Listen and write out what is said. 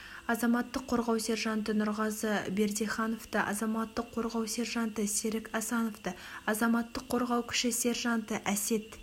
азаматтық қорғау сержанты нұрғазы бердихановты азаматтық қорғау сержанты серік асановты азаматтық қорғау кіші сержанты әсет